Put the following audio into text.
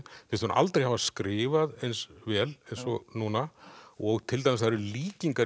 finnst hún aldrei hafa skrifað eins vel og núna og til dæmis það eru líkingar